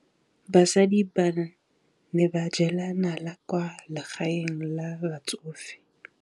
Basadi ba ne ba jela nala kwaa legaeng la batsofe.